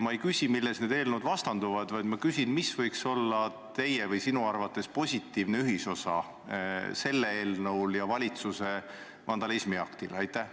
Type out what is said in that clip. Ma ei küsi, mille poolest need eelnõud vastanduvad, vaid küsin, mis võiks sinu arvates olla selle eelnõu ja valitsuse vandalismiakti positiivne ühisosa.